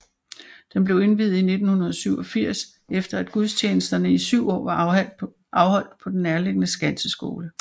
Den blev indviet i 1987 efter at gudstjenesterne i 7 år var afholdt på den nærliggende Skanseskole